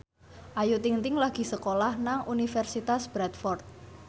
Ayu Ting ting lagi sekolah nang Universitas Bradford